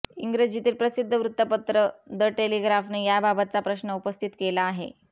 इंग्रजीतील प्रसिद्ध वृत्तपत्र द टेलिग्राफने याबाबतचा प्रश्न उपस्थित केला आहे